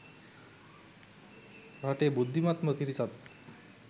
රටේ බුද්ධිමත්ම පිරිසත්